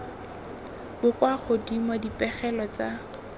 bo kwa godimo dipegelo tsa